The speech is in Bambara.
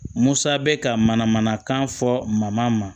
Musa bɛ ka mana manakan fɔ ma